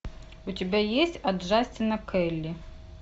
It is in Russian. у тебя есть от джастина к келли